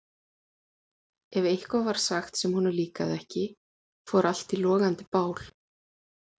Ef eitthvað var sagt sem honum líkaði ekki fór allt í logandi bál.